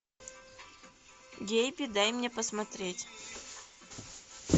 гейби дай мне посмотреть